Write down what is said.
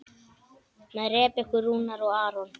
Með Rebekku Rúnar og Aron.